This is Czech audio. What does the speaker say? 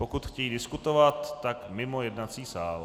Pokud chtějí diskutovat, tak mimo jednací sál.